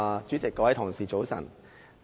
主席，各位同事早晨。